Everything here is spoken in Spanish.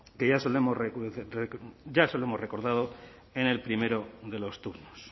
que ya se lo hemos recordado en el primero de los turnos